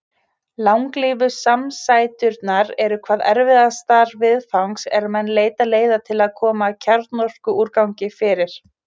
Langlífu samsæturnar eru hvað erfiðastar viðfangs er menn leita leiða til að koma kjarnorkuúrgangi fyrir.